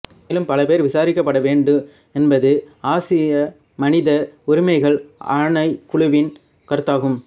மேலும் பல பேர் விசாரிக்கப்படவேண்டு என்பது ஆசிய மனித உரிமைகள் ஆணைகுழுவின் கருத்தாகும்